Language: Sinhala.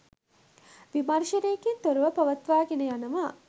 විමර්ෂනයකින් තොරව පවත්වා ගෙන යනවා